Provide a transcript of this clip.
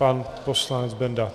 Pan poslanec Benda.